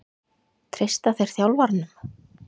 Treysta þeir þjálfaranum?